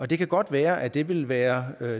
det kan godt være at det vil være